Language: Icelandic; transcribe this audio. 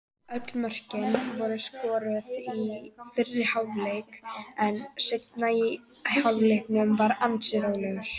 Öll mörkin voru skoruð í fyrri hálfleik en seinni hálfleikurinn var ansi rólegur.